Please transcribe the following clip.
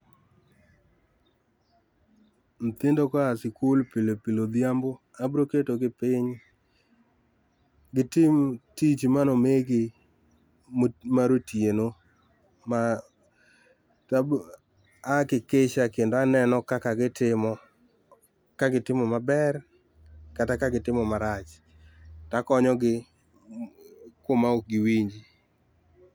Nyithindo ka oa sikul pile pile odhiambo abiro ketogi piny gitim tich mane omigi mo, mar otieno, ma to abo a hakikisha kendo aneno kaka gitimo, kagitimo maber kata ka gitimo maracht, akonyogi kuma ok giwinji